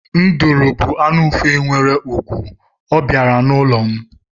Nduru bú anụ ufe nwere ùgwù, ọ bịara n'ụlọ m.